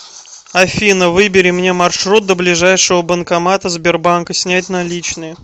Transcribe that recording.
афина выбери мне маршрут до ближайшего банкомата сбербанка снять наличные